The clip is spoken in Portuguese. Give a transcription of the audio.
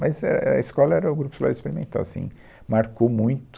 Mas é, é, a escola era o Grupo Escolar Experimental, assim, marcou muito.